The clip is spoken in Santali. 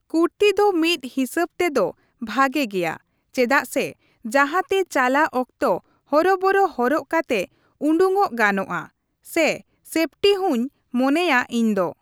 ᱠᱩᱨᱛᱤ ᱫᱚ ᱢᱤᱫ ᱦᱤᱥᱟᱹᱵ ᱛᱮᱫᱚ ᱵᱷᱟᱜᱮ ᱜᱮᱭᱟ ᱾ ᱪᱮᱫᱟᱜ ᱥᱮ ᱡᱟᱦᱟᱸᱛᱮ ᱪᱟᱞᱟᱜ ᱚᱠᱛᱚ ᱦᱚᱨᱚᱵᱚᱨᱚ ᱦᱚᱨᱚᱜ ᱠᱟᱛᱮ ᱩᱰᱩᱠᱚᱜ ᱜᱟᱱᱚᱜᱼᱟ ᱾ ᱥᱮ ᱥᱮᱯᱴᱤ ᱦᱩᱧ ᱢᱚᱱᱮᱭᱟ ᱤᱧ ᱫᱚ ᱾